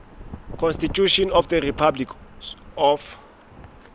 constitution of the republic of